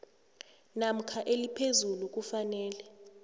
namkha eliphezulu kufanele